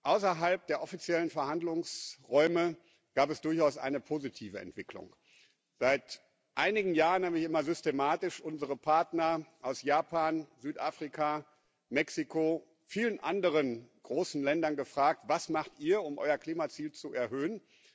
Außerhalb der offiziellen Verhandlungsräume gab es durchaus eine positive Entwicklung Seit einigen Jahren habe ich immer systematisch unsere Partner aus Japan, Südafrika, Mexiko und vielen anderen großen Ländern gefragt Was macht ihr, um euer Klimaziel zu erhöhen?